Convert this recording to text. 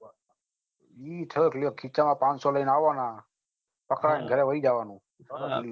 હમ ખીસામાં પાંચસો રૂપિયા લઈને આવાના પકા ના ઘરે હુઈ જવાનું